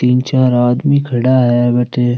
तीन चार आदमी खड़ा है वठै।